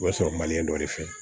O bɛ sɔrɔ dɔ de fɛ